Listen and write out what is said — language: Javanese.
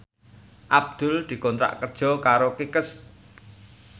Abdul dikontrak kerja karo Kickers